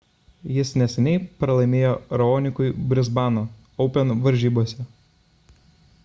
jis neseniai pralaimėjo raonikui brisbano open varžybose